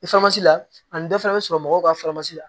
la ani dɔ fana bɛ sɔrɔ mɔgɔw ka la